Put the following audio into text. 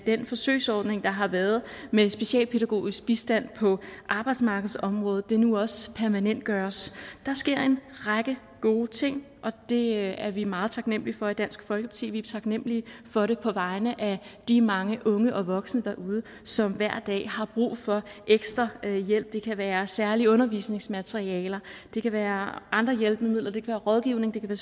den forsøgsordning der har været med specialpædagogisk bistand på arbejdsmarkedsområdet nu også permanentgøres der sker en række gode ting og det er vi meget taknemlige for i dansk folkeparti vi er taknemlige for det på vegne af de mange unge og voksne derude som hver dag har brug for ekstra hjælp det kan være særlige undervisningsmaterialer det kan være andre hjælpemidler det kan være rådgivning det kan